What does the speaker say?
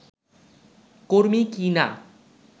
কর্মী কিনা